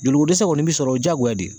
Joliko dɛsɛ kɔni bɛ sɔrɔ, o jagoya de